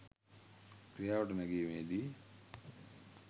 ක්‍රියාවට නැගීමේ දී